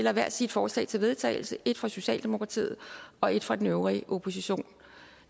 hver sit forslag til vedtagelse et fra socialdemokratiet og et fra den øvrige opposition